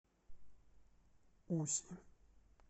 уси